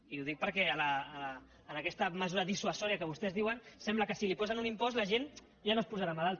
i ho dic perquè amb aquesta mesura dissuasiva que vostès diuen sembla que si li posen un impost la gent ja no es posarà malalta